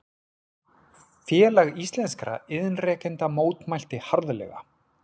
Félag íslenskra iðnrekenda mótmælti harðlega